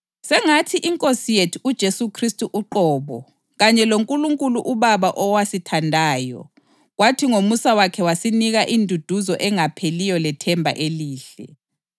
Sengathi iNkosi yethu uJesu Khristu uqobo kanye loNkulunkulu uBaba owasithandayo kwathi ngomusa wakhe wasinika induduzo engapheliyo lethemba elihle